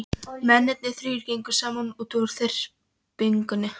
Mennirnir þrír gengu saman út úr þyrpingunni.